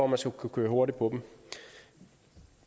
man skal kunne køre hurtigt på dem